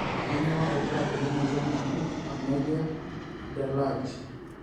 kanyio irbulabul le moyian naji cornelia de large